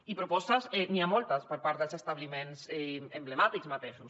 i de propostes n’hi ha moltes per part dels establiment emblemàtics mateixos